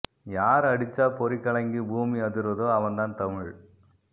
யார் அடிச்சா பொறி கலங்கி பூமி அதிருதோ அவன் தான் தமிழ்